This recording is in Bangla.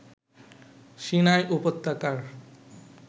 সিনাই উপত্যকার